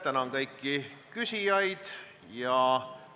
Tänan kõiki küsijaid!